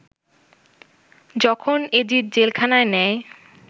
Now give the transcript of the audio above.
যখন এজিদ জেলখানায় নেয়